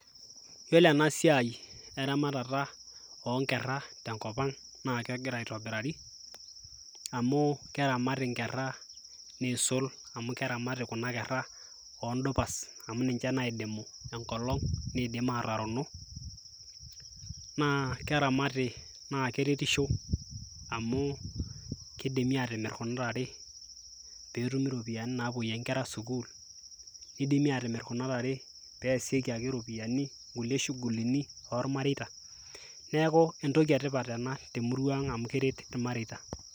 iyiolo ena siai eramatata oo nkera tenkop ang naa kegira aitobirari amu keramati nkera niisul, amu keramati kuna keraoodupas amu ninche naidimu enkolong',nidim aatarono, naa keramati naa keretisho amu kidimi atimir kuna tare pee etumi iropiyiani naapuoiyie nkera sukuul, nidimi aatimir kuna tare ee eesieki ake kuna ropiyiani, kulie shughulini oormareita. neeku entoki etipat ena temurua ang amu keret ilmareita.